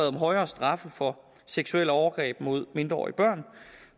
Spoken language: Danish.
om højere straffe for seksuelle overgreb mod mindreårige børn